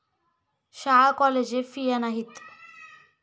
शाळा कॉलेजे फिया नाहीत.